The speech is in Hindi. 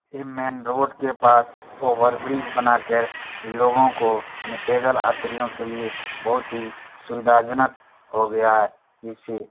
यह मैंन रोड के पास ओवर ब्रिज बना कर लोगो को पैदल यात्रियों के लिये बोहोत ही सुविधायक जनक हो गया है। जिससे --